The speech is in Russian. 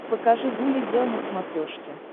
покажи гуля гел на смотрешке